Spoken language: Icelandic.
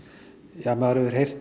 ja maður hefur heyrt